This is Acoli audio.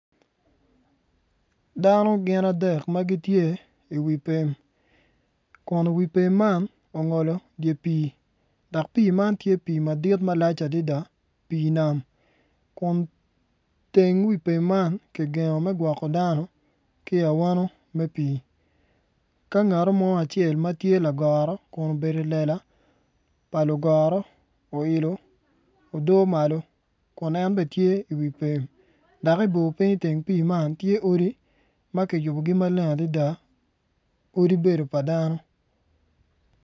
Dano gin adek ma gitye i wi pem kun wi pem man ongolo wi pii dok pii man tye pii malac adada pii nam kun teng wi pem man kigengo me gwoko dano ki i awano me pii ka ngat mo ma tye lagoro kun obedo i wi lela pa lugoro oilo odo malo kun en bene tye i wi pem dok i bor piny i teng pii man tye odi ma kiyubogi maleng adada odi bedo pa dano.